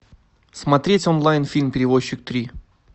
смотреть онлайн фильм перевозчик три